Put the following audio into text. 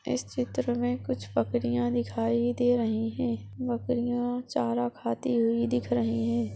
इस चित्रमें कुछ बकरियां दिखाई दे रही है बकरियां चारा खाती हुई दिख रही हैं।